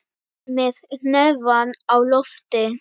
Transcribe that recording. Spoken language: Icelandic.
Með hnefann á lofti.